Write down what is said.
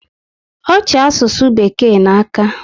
Ọ chi asụsụ bekee n'aka